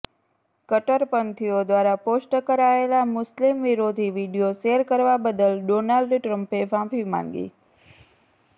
કટ્ટરપંથીઓ દ્વારા પોસ્ટ કરાયેલા મુસ્લિમ વિરોધી વીડિયો શેર કરવા બદલ ડોનાલ્ડ ટ્રમ્પે માફી માંગી